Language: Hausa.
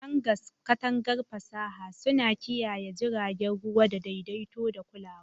Hangars, katangar fasaha, suna kiyaye jiragen ruwa da daidaito da kulawa.